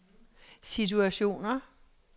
situationer